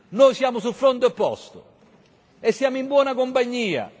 Noi siamo sul fronte opposto, e siamo in buona compagnia.